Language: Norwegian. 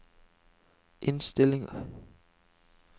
innstillinger